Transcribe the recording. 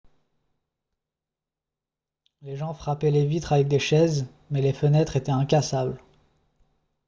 les gens frappaient les vitres avec des chaises mais les fenêtres étaient incassables